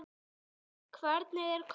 Hvernig er kaupið?